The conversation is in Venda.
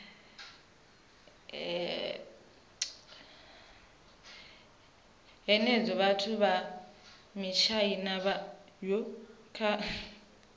hanedza vhathu vha matshaina kha